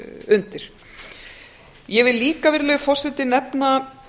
undir ég vil líka virðulegi forseti nefna